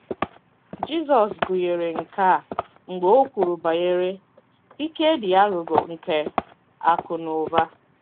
Jizọs gụnyere nke a mgbe o kwuru banyere “ ike dị aghụghọ nke akụ̀ na ụba.